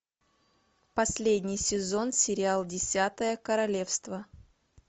последний сезон сериал десятое королевство